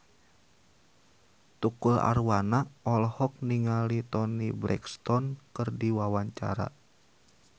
Tukul Arwana olohok ningali Toni Brexton keur diwawancara